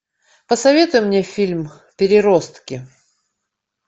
посоветуй мне фильм переростки